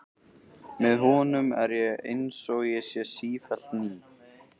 Með honum er ég einsog ég sé sífellt ný.